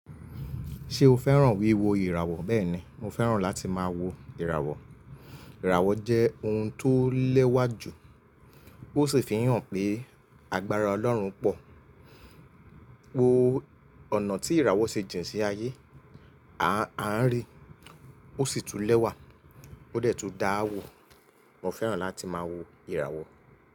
Ṣé o fẹ́ràn wíwo ìràwọ̀? Bẹ́ẹ̀ni, mo fẹ́ràn láti máa wo ìràwọ̀. Ìràwọ̀ jẹ́ ohun tó lẹ́wà jù, ó sì fi hàn pé agbára Ọlọ́run pọ̀. Wo ọ̀nà tí ìràwọ̀ ṣe jìn sí ayé, a ń rí i, ó sì tún lẹ́wà, ó dẹ̀ tún dáàwò. Mo fẹ́ràn láti máa wo ìràwọ̀